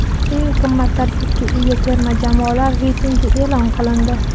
Eng qimmat tarkibga ega terma jamoalar reytingi e’lon qilindi.